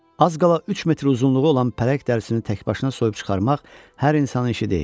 Az qala üç metr uzunluğu olan pələng dərisini təkbaşına soyub çıxarmaq hər insanın işi deyil.